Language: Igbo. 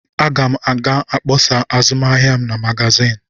Aga m ga-akpọsa azụmahịa m na magazin.